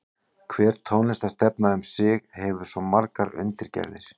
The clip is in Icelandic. Hver tónlistarstefna um sig hefur svo margar undirgerðir.